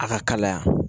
A ka kalaya